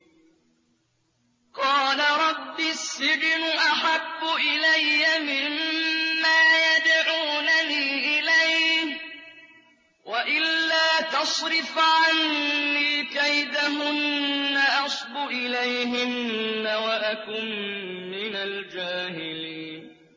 قَالَ رَبِّ السِّجْنُ أَحَبُّ إِلَيَّ مِمَّا يَدْعُونَنِي إِلَيْهِ ۖ وَإِلَّا تَصْرِفْ عَنِّي كَيْدَهُنَّ أَصْبُ إِلَيْهِنَّ وَأَكُن مِّنَ الْجَاهِلِينَ